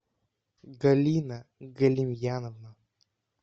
галина галимьяновна